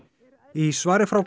í svari frá